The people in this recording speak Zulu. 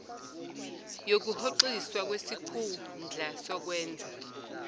yokuhoxiswa kwesikhundla sokwenza